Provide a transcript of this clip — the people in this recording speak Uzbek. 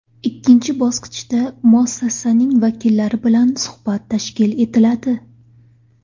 Ikkinchi bosqichda – muassasaning vakillari bilan suhbat tashkil etiladi.